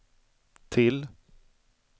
till